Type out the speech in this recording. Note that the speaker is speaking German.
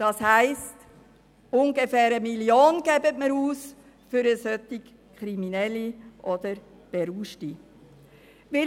Das heisst, dass wir ungefähr 1 Mio. Franken für Kriminelle oder Berauschte ausgeben.